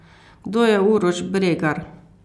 Kdo je Uroš Bregar?